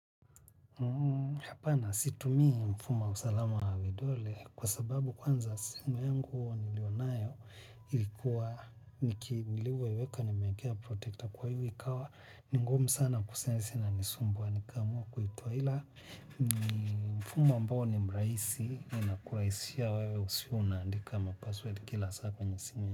Hapana situmii mfumo wa usalama wa vidole kwa sababu kwanza simu yangu nilionayo ilikuwa niki nilivyoiweka nimeekea protekta kwa hiyo ikawa ni ngumu sana kusensi inanisumbua wa nikamua kuitoa ila mfumo ambao ni mrahisi inakurahisishia wewe usiwe unaandika ma password kila saa kwenye simu.